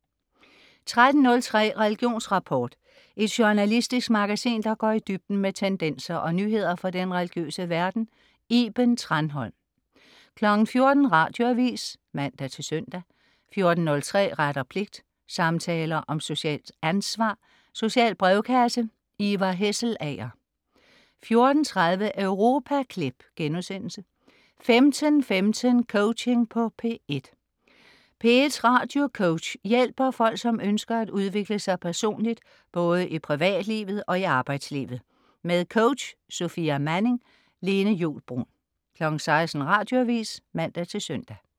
13.03 Religionsrapport. Et journalistisk magasin, der går i dybden med tendenser og nyheder fra den religiøse verden. Iben Thranholm 14.00 Radioavis (man-søn) 14.03 Ret og pligt. Samtaler om socialt ansvar. Social brevkasse. Ivar Hesselager 14.30 Europaklip* 15.15 Coaching på P1. P1s radiocoach hjælper folk, som ønsker at udvikle sig personligt, både i privatlivet og i arbejdslivet. Med coach Sofia Manning. Lene Juul Bruun 16.00 Radioavis (man-søn)